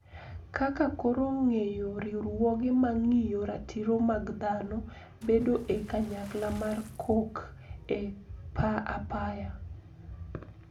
Kaka koro geng`o riwruoge mang`iyo ratiro mag dhano bedo e kanyakla mar kok e apaya